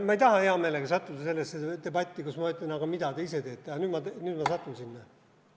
Ma ei taha hea meelega sattuda sellesse debatti, kus ma ütlen, et aga mida te ise teete, aga nüüd ma satun sinna.